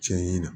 Tiɲɛ na